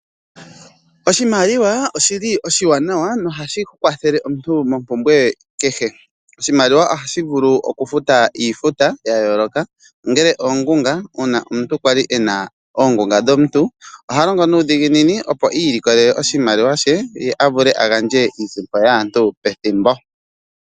Oshimaliwa oshi li oshiwanawa nohashi kwathele omuntu mompumbwe kehe. Oshimaliwa ohashi vulu okufuta iifuta ya yooloka ongele oongunga uuna omuntu kwali ena oongunga dhomuntu oha longo nuudhiginini opo ilikolele oshimaliwa she ye a vule a gandje iisimpo yaantu pethimbo.